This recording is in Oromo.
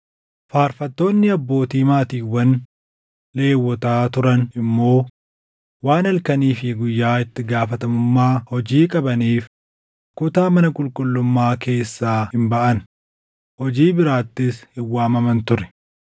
Faarfattoonni abbootii maatiiwwani Lewwotaa turan immoo waan halkanii fi guyyaa itti gaafatamummaa hojii qabaniif kutaa mana qulqullummaa keessaa hin baʼan; hojii biraattis hin waamaman ture.